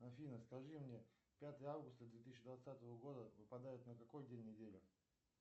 афина скажи мне пятое августа две тысячи двадцатого года выпадает на какой день недели